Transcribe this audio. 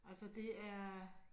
Altså det er